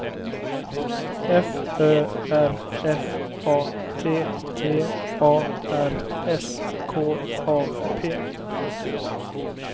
F Ö R F A T T A R S K A P